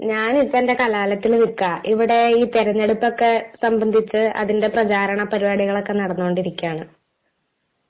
ഞാൻ ഇപ്പോൾ എൻ്റെ കലാലയത്തിൽ നില്ക്കാ. ഇവിടെ ഈ തിരഞ്ഞെടുപ്പൊക്കെ സംബന്ധിച്ചു അതിൻ്റെ പ്രചാരണ പരിപാടികളൊക്കെ നടന്നു കൊണ്ടിരിക്കുകയാണ്.